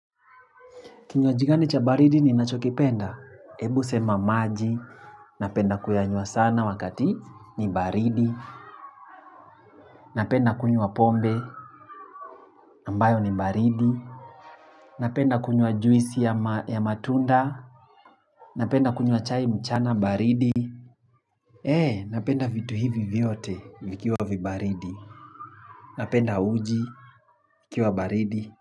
Kinywaji gani cha baridi ni nacho kipenda, ebu sema maji, napenda kuyanywa sana wakati ni baridi, napenda kunywa pombe, ambayo ni baridi, napenda kunywa juisi ya ya matunda, napenda kunywa chai mchana baridi, ee napenda vitu hivi vyote vikiwa vibaridi, napenda uji ikiwa baridi.